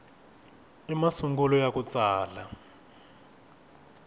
i masungulo ya ku tsala